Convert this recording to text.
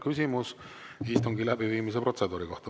Küsimus istungi läbiviimise protseduuri kohta.